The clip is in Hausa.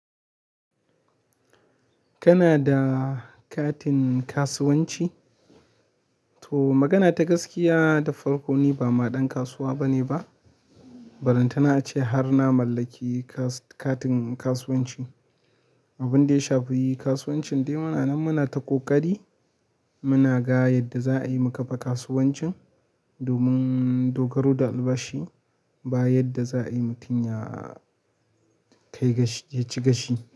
Kana da katin kasuwanci? To magana ta gaskiya da farko ni ba ma ɗan kasuwa bane ba, balantana ace har na mallaki kas-- katin kasuwanci. Abin da ya shafi kasuwancin dai muna nan muna ta ƙoƙari muna ga yadda za'a yi mu ƙafa kasuwancin domin dogaro da albashi ba yadda za'a yi mutum ya kai gashi, ya ci gashi.